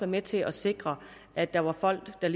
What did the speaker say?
med til at sikre at der var folk der